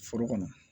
Foro kɔnɔ